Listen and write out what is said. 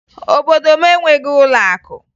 Obodo m enweghi ụlọakụ